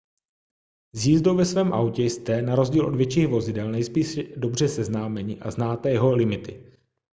s jízdou ve svém autě jste na rozdíl od větších vozidel nejspíše dobře seznámeni a znáte jeho limity